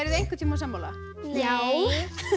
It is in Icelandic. þið einhvern tíma sammála nei